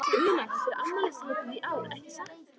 Una, þetta er afmælishátíð í ár, ekki satt?